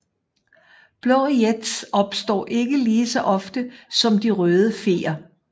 Blå jets opstår ikke ligeså ofte som de røde feer